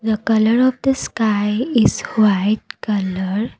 colour of the sky is white colour.